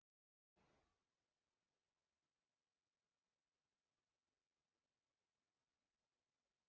Strákarnir sparka í þær, skyrpa á kápurnar.